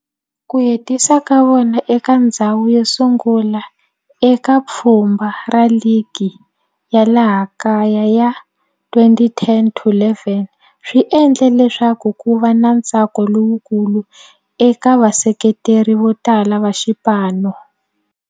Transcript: Ku hetisa ka vona eka ndzhawu yosungula eka pfhumba ra ligi ya laha kaya ya 2010-11 swi endle leswaku kuva na ntsako lowukulu eka vaseketeri votala va xipano.